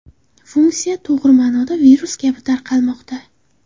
Funksiya to‘g‘ri ma’noda virus kabi tarqalmoqda.